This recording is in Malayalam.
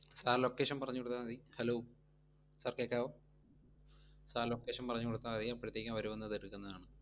sir location പറഞ്ഞു കൊടുത്താ മതി. hello, sir കേക്കാവോ sir location പറഞ്ഞു കൊടുത്താ മതി, അപ്പഴത്തേക്കും അവര് വന്ന് അത് എടുക്കുന്നതാണ്